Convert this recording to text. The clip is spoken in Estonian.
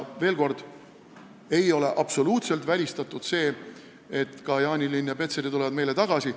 Veel kord: ei ole absoluutselt välistatud, et ka Jaanilinn ja Petseri tulevad meile tagasi.